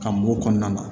Ka mugu kɔnɔna na